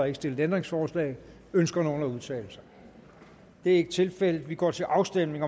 ikke stillet ændringsforslag ønsker nogen at udtale sig det er ikke tilfældet og vi går til afstemning